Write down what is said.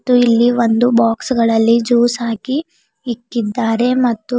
ಮತ್ತು ಇಲ್ಲಿ ಒಂದು ಬಾಕ್ಸ್ ಗಳಲ್ಲಿ ಜ್ಯೂಸ್ ಹಾಕಿ ಇಕ್ಕಿದ್ದಾರೆ ಮತ್ತು--